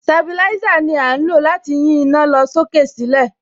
Sabilísà ni à ń lò láti yín iná lọ sókè sílẹ̀.